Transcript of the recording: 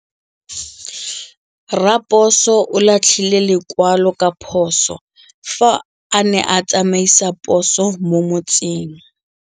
Raposo o latlhie lekwalô ka phosô fa a ne a tsamaisa poso mo motseng.